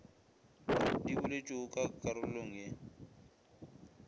di boletšwego ka karolong ye